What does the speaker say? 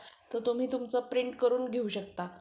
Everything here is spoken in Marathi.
तो तुम्ही तुमचं print करून घेऊ शकता.